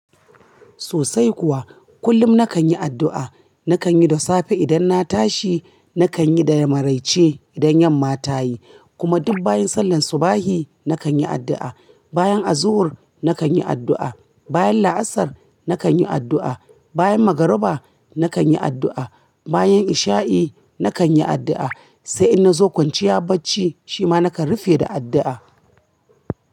Sosai kuwa. Kullum na kan yi addu'a. Na kan yi da safe idan na tashi, na kan yi da maraice idan yamma tayi, kuma duk bayan sallan subahi na kan yi addu'a, bayan azuhur na kan yi addu'a, bayan laasar na kan yi addu'a, bayan magariba na kan yi addu'a, bayan isha'i na kan yi addu'a, sai in na zo kwanciya bacci shima na kan rufe da addu'a.